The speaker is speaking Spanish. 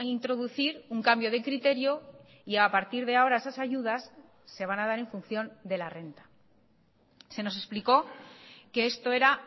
introducir un cambio de criterio y a partir de ahora esas ayudas se van a dar en función de la renta se nos explicó que esto era